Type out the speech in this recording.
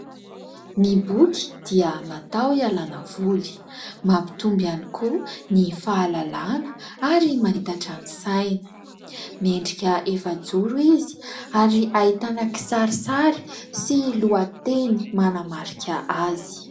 Ny boky dia natao hialana voly, mampitombo ihany koa ny fahalalàna ary manitatra ny saina. Miendrika efa joro izy ary ahitana kisarisary sy lohateny manamarika azy.